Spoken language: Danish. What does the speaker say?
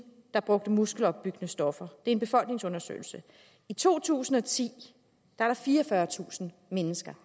der brugte muskelopbyggende stoffer en befolkningsundersøgelse i to tusind og ti var der fireogfyrretusind mennesker